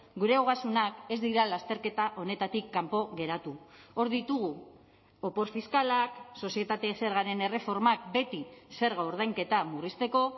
gure ogasunak ez dira lasterketa honetatik kanpo geratu hor ditugu opor fiskalak sozietate zergaren erreformak beti zerga ordainketa murrizteko